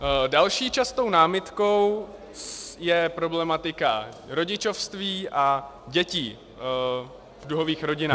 Další častou námitkou je problematika rodičovství a dětí v duhových rodinách -